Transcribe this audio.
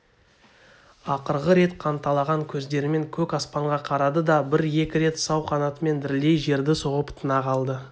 ақырғы рет қанталаған көздерімен көк аспанға қарады да бір-екі рет сау қанатымен дірілдей жерді соғып тына қалды